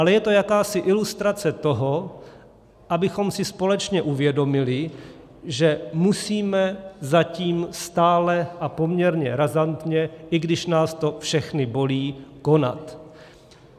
Ale je to jakási ilustrace toho, abychom si společně uvědomili, že musíme zatím stále a poměrně razantně, i když nás to všechny bolí, konat.